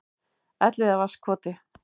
Elliðavatnskoti